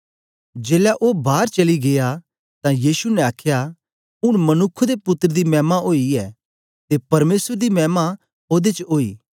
जेलै ओ बार चली गीया तां यीशु ने आखया ऊन मनुक्ख दे पुत्तर दी मैमा ओई ऐ ते परमेसर दी मैमा ओदे च ओई